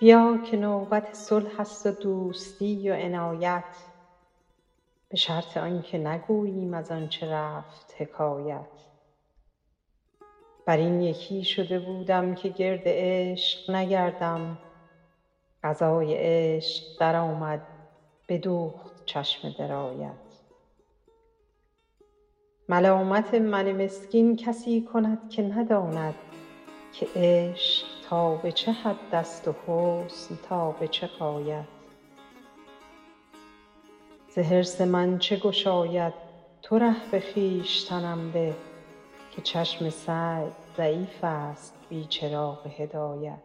بیا که نوبت صلح است و دوستی و عنایت به شرط آن که نگوییم از آن چه رفت حکایت بر این یکی شده بودم که گرد عشق نگردم قضای عشق درآمد بدوخت چشم درایت ملامت من مسکین کسی کند که نداند که عشق تا به چه حد است و حسن تا به چه غایت ز حرص من چه گشاید تو ره به خویشتنم ده که چشم سعی ضعیف است بی چراغ هدایت